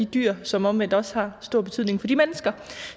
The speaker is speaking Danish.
dyrene som omvendt også har stor betydning for de mennesker